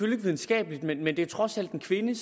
videnskabeligt men det er trods alt en kvinde